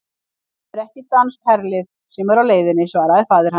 Það er ekki danskt herlið sem er á leiðinni, svaraði faðir hans.